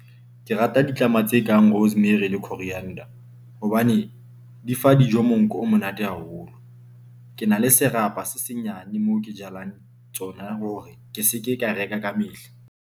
Ke rata ditlama tse kang rosemary le coriander hobane di fa dijo. Monko o monate haholo. Ke na le serapa se senyane moo ke jalang tsona hore ke seke ka reka kamehla.